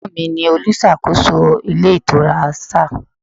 Ẹ̀gbọ́n mi ni olùṣàkóso ilé ìtura Star.